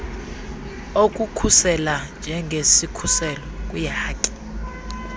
okukhusela njengesikhuselo kwiihaki